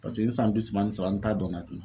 Paseke n san bi saba ni saba an t'a dɔn na